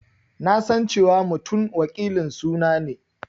Na san cewa Mutum wakilin suna ne.